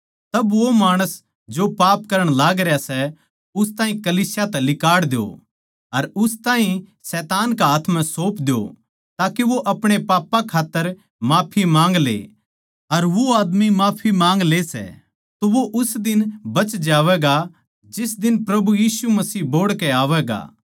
तब वो माणस जो पाप करण लागरया सै उस ताहीं कलीसिया तै लिकाड़ द्यो अर उस ताहीं शैतान के हाथ म्ह सौंप द्यो ताके वो आपणे पापां खात्तर माफी माँग ले अर वो आदमी माफी माँग ले सै तो वो उस दिन बच जावैगा जिस दिन प्रभु यीशु मसीह बोहड़ कै आवैगा